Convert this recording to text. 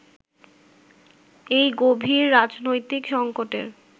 এই গভীর রাজনৈতিক সংকটের